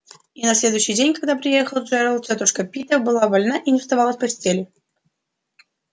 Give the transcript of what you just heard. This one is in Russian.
и на следующий день когда приехал джералд тётушка пита была больна и не вставала с постели